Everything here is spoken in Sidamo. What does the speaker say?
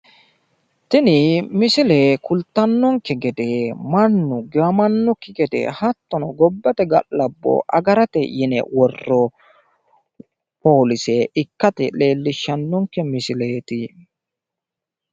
Tini misile kultannonke gede mannu giwamannokki gede hattono gobbate galabbo agarate yine worroonni poolise ikkase leellishshannonke misileeti.